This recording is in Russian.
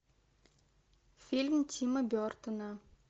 фильм тима бертона